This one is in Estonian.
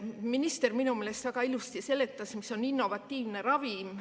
Minister minu meelest väga ilusasti seletas, mis on innovatiivne ravim.